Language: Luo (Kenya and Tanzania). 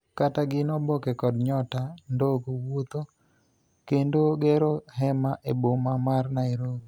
Kata Gin Oboke kod Nyota Ndogo wuotho ??kendo gero hema e boma mar Nairobi